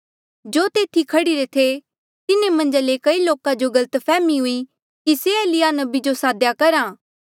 जो तेथी खड़ीरे थे तिन्हा मन्झा ले कई लोका जो गलतफैह्मी हुई की से एलिय्याह नबी जो सादेया करहा